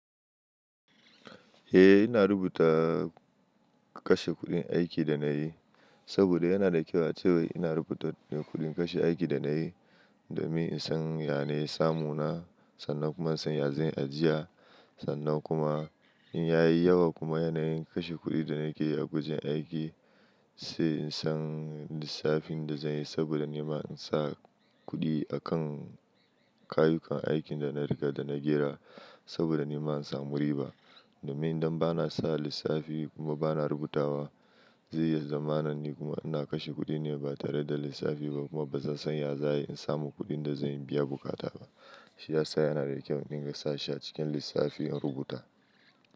Eh ina rubuta kashe kuɗin aikin da na yi, saboda yana da kyau a cewa wai ina rubuta kuɗin kashe aikin da na yi, domin in san ya ne samu na, sannan kuma in san ya zan yi ajiya, sannan kuma in ya yi yawa kuma yanayin kashe kuɗin da nake yi a wajen aiki, sai in san lissafin da zan yi saboda ni ma in sa kuɗi akan kayyukan aikin da na riga da na jera saboda ni ma in samu riba. Domin idan bana sa lissafi kuma bana rubuta wa, zai iya zamanin ni kuma ina kashe kuɗi ne ba tare da lissafi ba kuma ba zan san ya za yi in samu kuɗin da zan biya buƙata ba. Shi ya sa yana da kyau in dinga sa shi a cikin lissafi in rubuta.